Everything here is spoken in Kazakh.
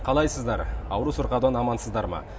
қалайсыздар ауру сырқаудан амансыздар ма